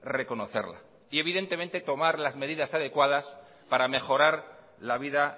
reconocerla y evidentemente tomar las medidas adecuadas para mejorar la vida